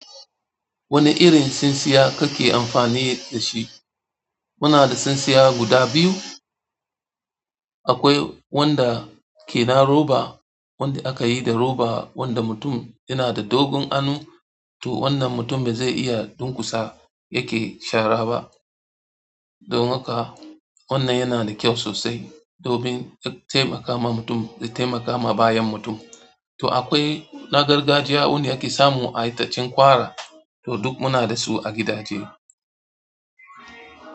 Wani irin tsintsiya kake amfani da shi? Muna da tsintsiya guda biyu. Akwai wanda ke na roba wanda akayi da roba wanda mutum m yana da dogon hannu to wanda mutum baze iya yake shara ba domin kuwa wannan yana da kyau sosai domin yana taimaka min to akwai na gargajiya wanda ake samu a itacen ƙwara, to duk muna da su a gidaje.